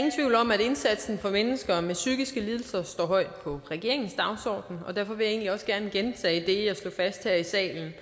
indsatsen for mennesker med psykiske lidelser står højt på regeringens dagsorden og derfor vil jeg egentlig også gerne gentage det jeg slog fast her i salen